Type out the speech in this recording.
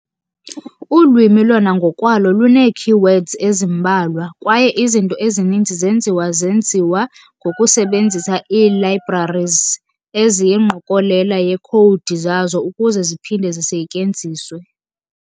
Ulwimi lona ngokwalo lunee-keywords ezimbalwa, kwaye izinto ezininzi zenziwa zenziwa ngokusebenzisa ii-libraries, eziyingqokolela yekhowudi zazo ukuze ziphinde zisetyenziswe.